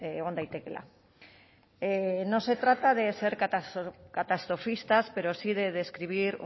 egon daitekeela no se trata de ser cata catastrofistas pero sí de describir